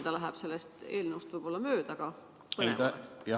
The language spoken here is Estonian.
Natuke läheb see sellest eelnõust võib-olla mööda, aga põnev oleks kuulda.